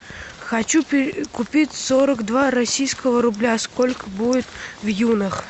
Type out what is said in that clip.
хочу купить сорок два российского рубля сколько будет в юнах